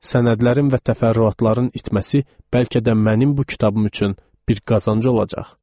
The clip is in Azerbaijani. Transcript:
Sənədlərin və təfərrüatların itməsi bəlkə də mənim bu kitabım üçün bir qazanc olacaq.